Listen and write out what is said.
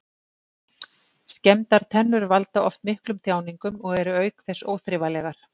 Skemmdar tennur valda oft miklum þjáningum og eru auk þess óþrifalegar.